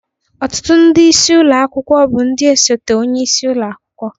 Ọtụtụ ndị isi ụlọ akwụkwọ bụ ndị osote onye isi ụlọ akwụkwọ